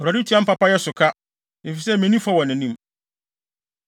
Awurade tuaa me papayɛ so ka, efisɛ minni fɔ wɔ nʼanim.